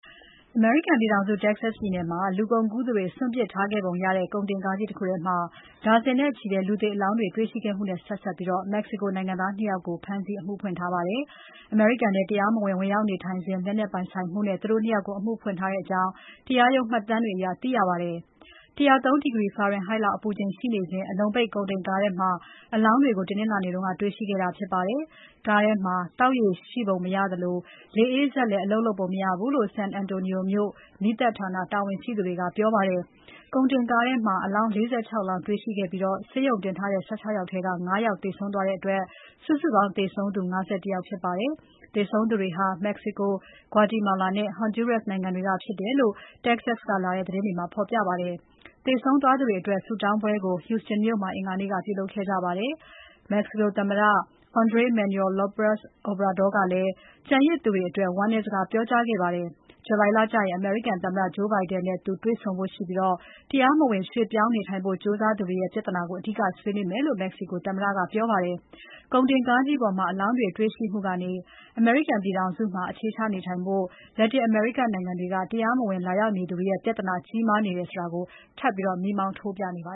အမေရိကန်ပြည်ထောင်စု Texas ပြည်နယ်မှာ လူကုန်ကူးသူတွေ စွန့်ပစ်ထားခဲ့ပုံရတဲ့ ကုန်တင်ကားကြီးတခုထဲ ဒါဇင်နဲ့ချီတဲ့လူသေအလောင်းတွေ တွေ့ခဲ့ရတာနဲ့ဆက်စပ်ပြီး Mexico နိုင်ငံသား ၂ ယောက်ကို ဖမ်းဆီးအမှုဖွင့်ထားပါတယ်။ အမေရိကန်ထဲ တရားမဝင် ဝင်ရောက်နေထိုင်နေစဉ် လက်နက်ပိုင်ဆိုင်မှုနဲ့ သူတို့ ၂ ယောက်ကို အမှုဖွင့်ထားကြောင်း တရားရုံးမှတ်တမ်းတွေအရ သိရပါတယ်။ ၁၀၃ ဒီဂရီဖာရင်ဟိုက်လောက် အပူချိန်ရှိနေစဉ် အလုံပိတ် ကုန်တင်ကားကြီးထဲမှာ အလောင်းတွေကို တနင်္လာနေ့က တွေ့ရှိခဲ့တာဖြစ်ပါတယ်။ ကားထဲမှာ သောက်ရေ ရှိပုံမတွေ့ရသလို လေအေးစက်လည်း အလုပ်လုပ်ပုံမရဘူးလို့ San Antonio မြို့မီးသတ်ဌာန တာဝန်ရှိသူတွေက ပြောပါတယ်။ ကုန်တင်ကားထဲမှာ အလောင်း ၄၆ လောင်းတွေ့ရှိခဲ့ပြီး ဆေးရုံတင်ထားတဲ့ ၁၆ ယောက်ထဲက ၅ ယောက်သေဆုံးသွားတဲ့အတွက် စုစုပေါင်း သေဆုံးသူ ၅၁ ယောက်ဖြစ်ပါတယ်။ သေဆုံးသူတွေဟာ Mexico၊ Guatemala နဲ့ Honduras နိုင်ငံတွေက ဖြစ်တယ် လို့ Texas လာတဲ့သတင်းတွေမှာ ဖော်ပြပါတယ်။ သေဆုံးသွားသူတွေအတွက် ဆုတောင်းပွဲကို Houston မြို့မှာ အင်္ဂါနေ့က ပြုလုပ်ခဲ့ကြပါတယ်။ Mexico သမ္မတ Andrés Manuel López Obrador ကလည်း ကျန်ရစ်သူတွေအတွက် ဝမ်းနည်းစကားပြောကြားခဲ့ပါတယ်။ ဇူလိုင်လကျရင် အမေရိကန်သမ္မတ Joe Biden နဲ့သူ တွေ့ဆုံဖို့ရှိပြီး တရားမဝင် ရွှေ့ပြောင်းနေထိုင်ဖို့ကြိုးစားသူတွေရဲ့ ပြဿနာကို အဓိကဆွေးနွေးမယ်လို့ Mexico သမ္မတက ပြောပါတယ်။ ကုန်တင်ကားကြီးပေါ်မှာ အလောင်းတွေ တွေ့ရှိမှုကနေ အမေရိကန်ပြည်ထောင်စုမှာ အခြေချနေထိုင်နိုင်ဖို့ လက်တင်အမေရိကနိုင်ငံတွေက တရားမဝင်လာရောက်နေသူတွေရဲ့ ပြဿနာကြီးမားနေတယ်ဆိုတာ ထပ်ပြီး မီးမောင်းထိုးပြနေပါ